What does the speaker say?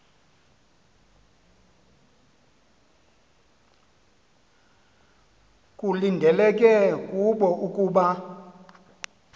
kulindeleke kubo ukuba